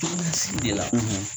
Ko de la